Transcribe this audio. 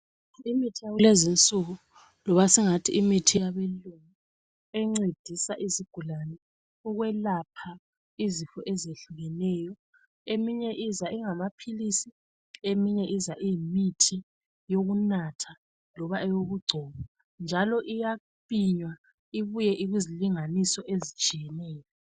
Imithi yakulezinsuku loba singathi imithi yabelungu encedisa izigulane ukwelapha izifo ezehlukeneyo, eminye iza ingamaphilisi, eminye iza iyimithi yokunatha loba eyokugcoba njalo iyapinywa ibuye iyizilinganiso ezitshiyeneyo.